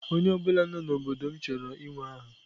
Onye ọ bụla nọ n'obodo m chọrọ inwe aha.